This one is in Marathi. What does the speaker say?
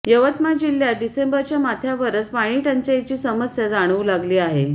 यवतमाळ जिल्ह्यात डिसेंबरच्या मध्यावरच पाणीटंचाईची समस्या जाणवू लागली आहे